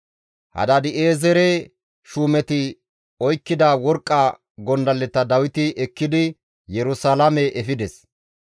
Hadaadi7eezere shuumeti oykkida worqqa gondalleta Dawiti ekkidi Yerusalaame efides.